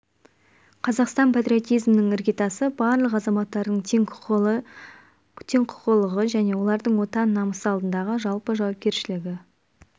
қазақстан патриотизмінің іргетасы барлық азаматтардың тең құқылығы және олардың отан намысы алдындағы жалпы жауапкершілігі